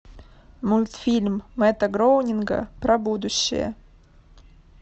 мультфильм мэтта гроунинга про будущее